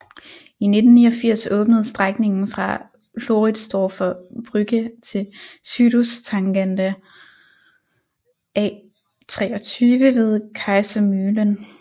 I 1989 åbnede strækningen fra Floridsdorfer Brücke til Südosttangente A23 ved Kaisermühlen